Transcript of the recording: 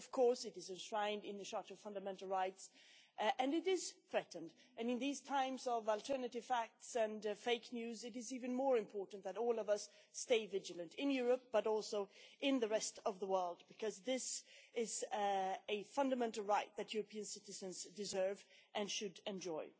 In Europe, of course, it is enshrined in the Charter of Fundamental Rights, but it is under threat and in these times of alternative facts and fake news it is even more important that all of us stay vigilant in Europe, and also in the rest of the world, because this is a fundamental right that European citizens deserve and should enjoy.